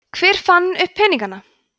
hver fann upp peningana